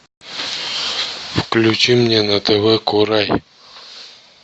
включи мне на тв курай